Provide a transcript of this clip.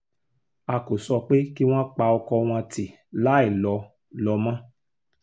a kò sọ pé kí wọ́n pa ọkọ wọn tì láì lọ lọ mọ́